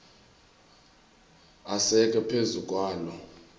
asekwe phezu kwaloo